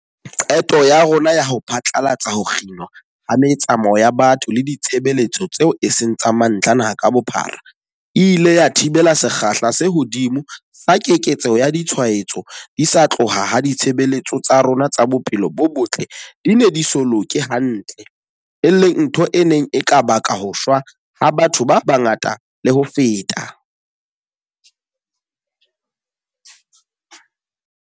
Qeto ya rona ya ho phatlalatsa ho kginwa ha metsamao ya batho le ditshebeletso tseo e seng tsa mantlha naha ka bophara, e ile ya thibela sekgahla se hodimo sa keketseho ya ditshwaetso di sa tloha ha ditshebeletso tsa rona tsa bophelo bo botle di ne di so loke hantle, e leng ntho e neng e ka baka ho shwa ha batho ba bangata le ho feta.